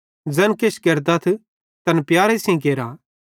ज़ैन किछ केरतथ तैन प्यारे सेइं केरा